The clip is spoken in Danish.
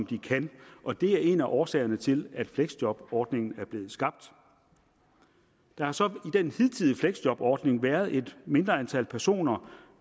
de kan og det er en af årsagerne til at fleksjobordningen er blevet skabt der har så i den hidtidige fleksjobordning været et mindre antal personer